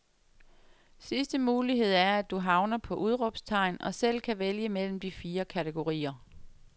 Sidste mulighed er, at du havner på udråbstegn og selv kan vælge mellem de fire kategorier.